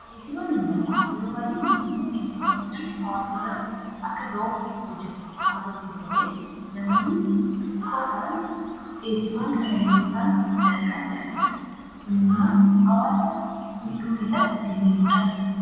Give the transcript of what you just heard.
Dhiyeessiiwwan uummataa yeroo baay'ee mootummaan dhiyeessiiwwan kana hawaasa bira akka ga'uuf hojjeta. Haa ta'uutii malee namoonni xiqqoo ta'an dhiyeessiiwwan kana yeroo isaan danqan ni'argina. Kun immoo hawaasa miidhuu keessatti gahee guddaa taphata.